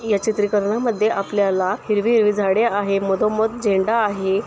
या चित्रीकरणामध्ये आपल्याला हिरवी हिरवी झाडे आहे मधोमध झेंडा आहे.